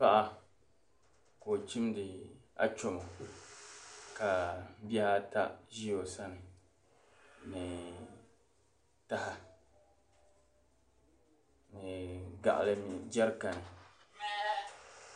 Paɣa ka o chimdi achomo ka bihi ata ʒi o sani ni taha ni gaɣali ni jɛrikani